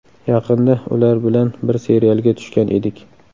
Yaqinda ular bilan bir serialga tushgan edik.